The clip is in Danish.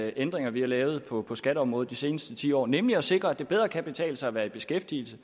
ændringer vi har lavet på på skatteområdet de seneste ti år nemlig at sikre at det bedre kan betale sig at være i beskæftigelse